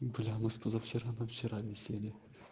бля у нас с позавчера на вчера веселье